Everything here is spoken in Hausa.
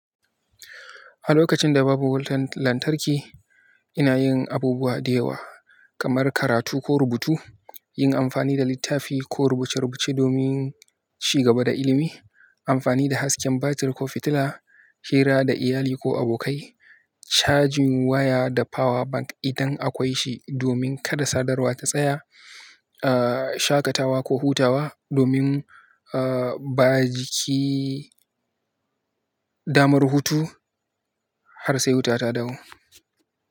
A lokacin da babu wutan lantarki, ina yin abubuwa da yawa kamar karatu ko rubutu, yin amfani da littafi ko rubuce-rubuce domin ci gaba da ilimi, amfani da hasken batir ko fitila, hira da iyali ko abokai, cajin waya da power bank idan akwai shi domin kada sadarwa ta tsaya, shaƙatawa ko hutawa domin ba jiki damar hutu har sai wuta ta dawo.